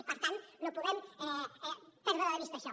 i per tant no podem perdre de vista això